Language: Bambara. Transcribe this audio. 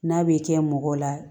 N'a bɛ kɛ mɔgɔ la